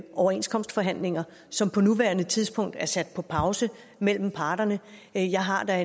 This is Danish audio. overenskomstforhandlinger som på nuværende tidspunkt er sat på pause mellem parterne jeg har da